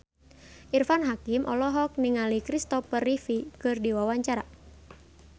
Irfan Hakim olohok ningali Kristopher Reeve keur diwawancara